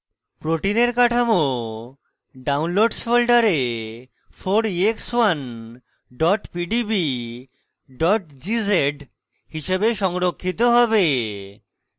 protein কাঠামো downloads folder 4ex1 pdb gz হিসাবে সংরক্ষিত হবে